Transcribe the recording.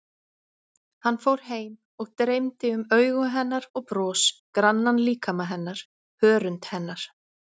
Hann fór heim og dreymdi um augu hennar og bros, grannan líkama hennar, hörund hennar.